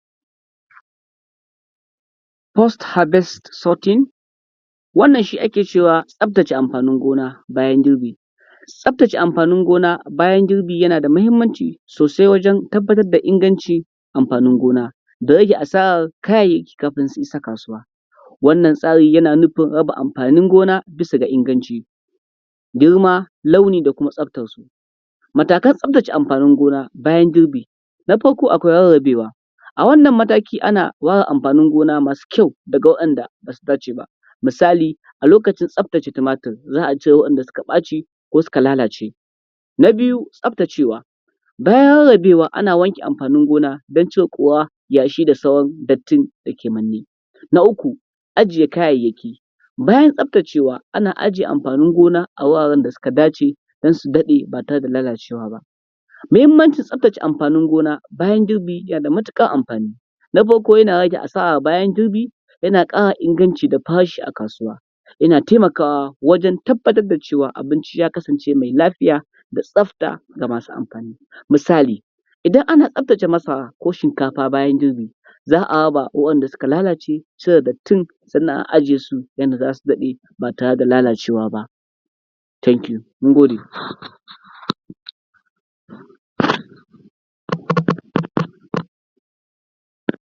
post harvest sorting, wannan shi ake cewa tsaftace amfannin gona bayan girbi., Tsaftace amfannin gona bayan girbi yana da muhimmanci so:sai wajen tabbatar da ingancin amfannin gona, da rage asarar kayayyaki kafin su isa kasuwa. Wannan tsari yana nufin raba amfannin gona bisa ga inganci, girma, launi da kuma tsaftarsu. Matakan tsaftace amfannin gona bayan girbi. Na farko akwai rarrabewa, a wannan mataki ana ware amfannin gona masu kyau daga wa’yinda ba su dace ba misali a lokacin tsaftace tumatur za a cire wanda suka ɓaci ko suka lalace. Na biyu tsaftacewa, bayan rarrabewa ana wanke amfannin gona don ʧire ƙura yashi da sauran dattin dake manne. Na uku ajiye kayayyaki, bayan tsaftacewa ana ajiye amfannin gona a wuraren da suka dace don su daɗe ba tare da lalacewa ba. muhimmancin tsaftace amfannin gona bayan girbi yana da matuƙar amfanni. Na farko yana rage asar bayan girbi. Yana ƙara inganci da farashi a kasuwa, yana taimakawa wajen tabbatar da cewa abinci ya kasance mai lafiya da tsafta ga masu amfani. Misali idan ana tsaftace masara ko shikafa bayan girbi girbi za a raba wa’yanda suka lalace cire dattin sannan a ajiye su yanda zasu daɗe ba tare da lalacewa ba. Thank you mun gode.